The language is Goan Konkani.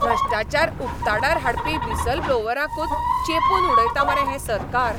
भ्रष्टाचार उक्ताडार हाडपी व्हिसलब्लोवरांकूच चेंपून उडयता मरे हें सरकार!